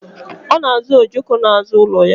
Ọ na azọ ojoko n'azụ ụlọ ya